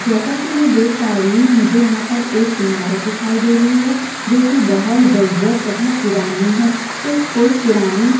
जैसा की मै देख पा रही हु मुझे यहाँ पर एक इमारत दिखाई दे रही है जोकि बहोत जर-जर तथा पुरानी है ये कोई पुरानी--